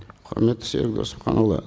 құрметті серік досымханұлы